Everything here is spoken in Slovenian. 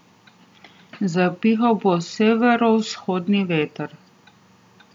Zapihal bo severovzhodni veter.